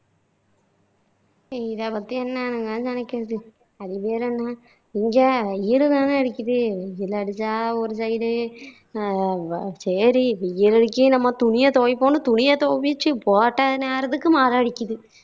இதை பத்தி என்னன்னு தான் நினைக்குறது அது பேரு என்ன இங்க வெயில் தாநே அடிக்குது வெயில் அடிச்சா ஒரு side உ அஹ் சரி வெயில் அடிக்கி துணியை துவைப்போம்னு துவைச்சு போட்ட நேரத்துக்கு மழை அடிக்குது